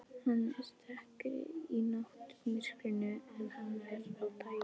Hann er dekkri í náttmyrkrinu en hann er á daginn.